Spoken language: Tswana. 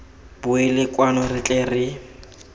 boele kwano re tle re